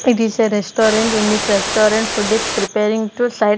It is a restaurant in this restaurant food is preparing to si--